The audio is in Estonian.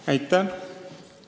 Aitäh!